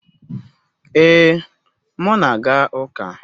Ee, m na-aga uka